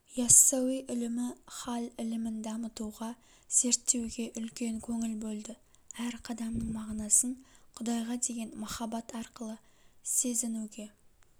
иассауи ілімі хал ілімін дамытуға зерттеуге үлкен көңіл бөлді әр қадамның мағынасын құдайға деген махаббат арқылы сезінуге